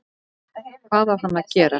Hvað á hann að gera?